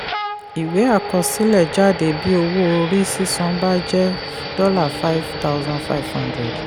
ìwé àkọsílẹ̀ jáde bí owó orí sísan bá jẹ́ $5500.